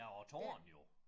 Ja og æ tårn jo